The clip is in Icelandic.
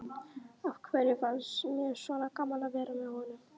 Af hverju fannst mér svona gaman að vera með honum?